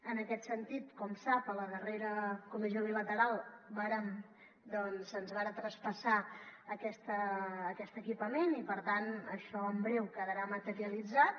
en aquest sentit com sap a la darrera comissió bilateral se’ns va traspassar aquest equipament i per tant això en breu quedarà materialitzat